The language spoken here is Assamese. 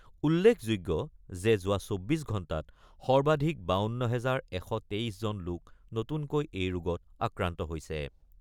উল্লেখযোগ্য যে যোৱা ২৪ ঘণ্টাত সৰ্বাধিক ৫২ হাজাৰ ১২৩ জন লোক নতুনকৈ এই ৰোগত আক্ৰান্ত হৈছে।